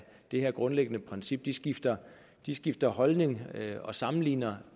det grundlæggende princip skifter skifter holdning og sammenligner